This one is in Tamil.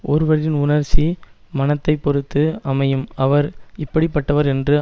ஒருவரின் உணர்ச்சி மனத்தை பொருத்து அமையும் அவர் இப்படி பட்டவர் என்று